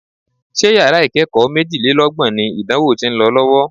Ṣé yàrá ìkẹ́kọ̀ọ́ méjìlélọ́gbọ̀n ni ìdánwò tí ń lọ lọ́wọ́?